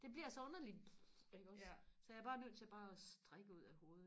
det bliver så underligt iggås så jeg er bare nødt til bare og strikke ud af hovedet